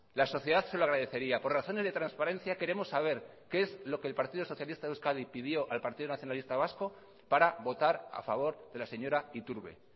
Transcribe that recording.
la sociedad se lo agradecería por razones de transparencia queremos saber qué es lo que el partido socialista de euskadi pidió al partido nacionalista vasco para votar a favor de la señora iturbe